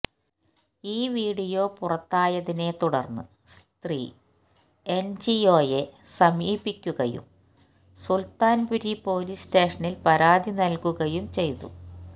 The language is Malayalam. ഈ വീഡിയോ പുറത്തായതിനെ തുടർന്ന് സ്ത്രീ എന്ജിഒയെ സമീപിക്കുകയും സുല്ത്താന്പുരി പൊലീസ് സ്റ്റേഷനില് പരാതിനൽകുകയും ചെയ്തു